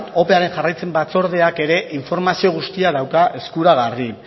opearen jarraipen batzordeak ere informazio guztia dauka eskuragarri